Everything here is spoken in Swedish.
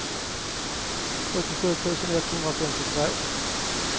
åttiosju tusen etthundrafemtiotvå